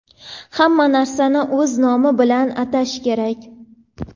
Hamma narsani o‘z nomi bilan atash kerak.